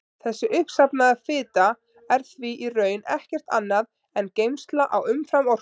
Þessi uppsafnaða fita er því í raun ekkert annað en geymsla á umframorku.